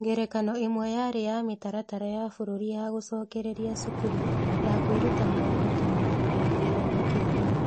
Ngerekano ĩmwe yarĩ ya Mĩtaratara ya Bũrũri ya Gũcokereria Cukuru ya Kwĩruta Maũndũ Tene na ya Gĩthomo kĩa Mbere.